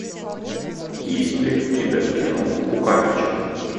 есть ли у тебя кино кукарача